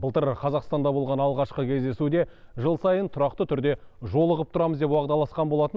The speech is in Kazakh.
былтыр қазақстанда болған алғашқы кездесуде жыл сайын тұрақты түрде жолығып тұрамыз деп уағдаласқан болатын